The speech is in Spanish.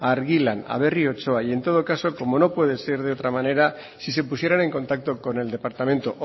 a argilan a berri otxoa y en todo caso como puede ser de otra manera si se pusiera en contacto con el departamento